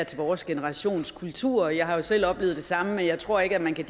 til vores generations kultur jeg har jo selv oplevet det samme men jeg tror ikke at man kan